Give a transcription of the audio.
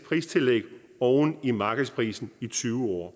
pristillæg oven i markedsprisen i tyve år